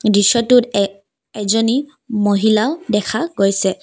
দৃশ্যটোত এক এজনী মহিলা দেখা গৈছে।